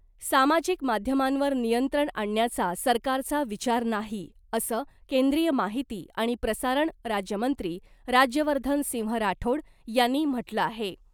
सामाजिक माध्यमांवर नियंत्रण आणण्याचा सरकारचा विचार नाही , असं केंद्रीय माहिती आणि प्रसारण राज्यमंत्री राज्यवर्धन सिंह राठोड यांनी म्हटलं आहे .